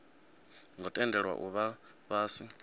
ngo tendelwa u vha fhasi